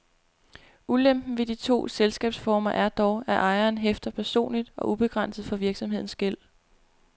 Ulempen ved de to selskabsformer er dog, at ejeren hæfter personligt og ubegrænset for virksomhedens gæld.